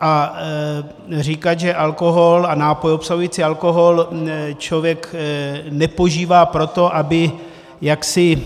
A říkat, že alkohol a nápoj obsahující alkohol člověk nepožívá proto, aby jaksi